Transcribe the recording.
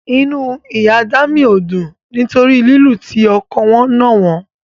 Inú Ìyá Dámì ò dùn nítorí lílu tí ọkọ wọn nà wọ́n.